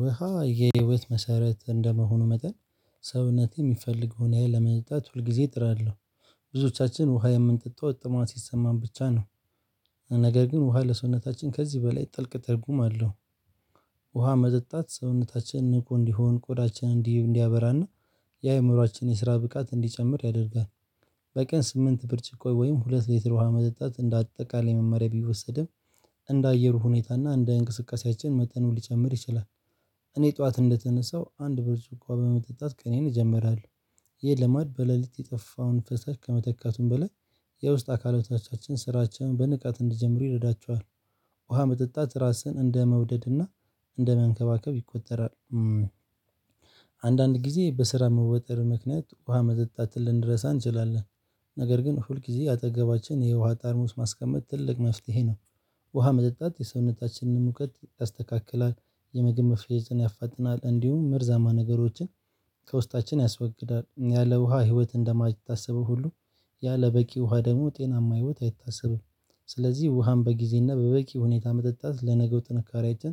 ውሃ የህይወት መሰረት እንደመሆኑ መጠን ሰውነቴ የሚፈልገውን ያህል ለመጠጣት ሁል ጊዜ ጥራለሁ ብዙዎቻችን ውሃ የምንጠጣው ጥማት ሲሰማን ብቻ ነው። ነገር ግን ውሃ ለሰውነታችን ከዚህ በላይ ጥልቅ ትርጉም አለው ውሃ መጠጣት ሰውነታችንን ንቁ እንዲሆን ቆዳችን እንዲ እንዲያበራና የአእምሮአችን የስራ ብቃት እንዲጨምር ያደርጋል በቀን ስምንት ብርጭቆ ወይም ሁለት ሊትር ውሃ መጠጣት እንደ አጠቃላይ መመሪያ ቢወሰድም እንደ አየሩ ሁኔታ እና እንደ እንቅስቃሴያችን መጠኑ ሊጨምር ይችላል እኔ ጠዋት እንደተነሳው አንድ ብርጭቆ ውሃ በመጠጣት ቀኔን እጀምራለሁ ይህ ልማድ በሌሊት የጠፋውን ፈሳሽ ከመተካቱም በላይ የውስጥ አካላቶቻችን ስራቸውን በንቃት እንዲጀምሩ ይረዳቸዋል ውሃ መጠጣት ራስን እንደመውደድና እንደመንከባከብ ይቆጠራል አንዳንድ ጊዜ በስራ መወጠር ምክንያት ውሃ መጠጣትን ልንረሳ እንችላለን ነገር ግን ሁል ጊዜ አጠገባችን የውሃ ጠርሙስ ማስቀመጥ ትልቅ መፍትሄ ነው ውሃ መጠጣት የሰውነታችንን ሙቀት ያስተካክላል የምግብ መፈጨትን ያፋጥናል እንዲሁም መርዛማ ነገሮችን ከውስጣችን ያስወግዳል ያለ ውሃ ህይወት እንደማይታሰበው ሁሉ ያለ በቂ ውሃ ደግሞ ጤናማ ህይወት አይታሰብም ስለዚህ ውሃን በጊዜና በበቂ ሁኔታ መጠጣት ለነገው ጥንካሬያችን